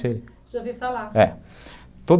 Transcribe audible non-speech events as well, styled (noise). (unintelligible) de ouvir falar, é (unintelligible)